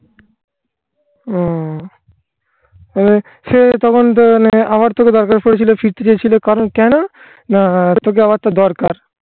হুম মানে সে তখন তো মানে আমার তোকে দরকার পড়েছিল ফিরতে চেয়েছিল. কারণ কেন? না তোকে আমার তো দরকার.